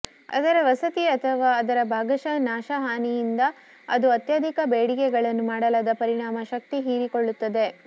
ಅದರ ವಸತಿ ಅಥವಾ ಅದರ ಭಾಗಶಃ ನಾಶ ಹಾನಿ ರಿಂದ ಅದು ಅತ್ಯಧಿಕ ಬೇಡಿಕೆಗಳನ್ನು ಮಾಡಲಾದ ಪರಿಣಾಮ ಶಕ್ತಿ ಹೀರಿಕೊಳ್ಳುತ್ತದೆ